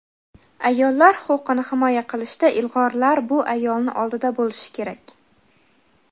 Ayollar huquqini himoya qilishda ilg‘orlar bu ayolni oldida bo‘lishi kerak.